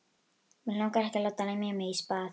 Mig langar ekki að láta lemja mig í spað.